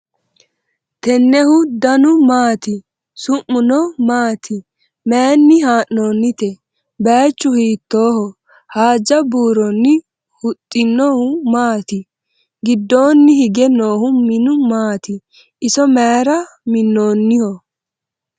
tennehu danu maati? su'muno maati? maayinni haa'noonnite ? baychu hiitoho haaja buurronni huxxino maati? giddoonni hige noohu minu maati? iso mayra minnoonniho?